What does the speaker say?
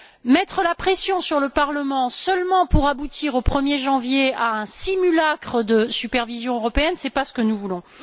Mettre la pression sur le Parlement uniquement pour aboutir, au 1er janvier, à un simulacre de supervision européenne, n'est pas ce que nous voulons.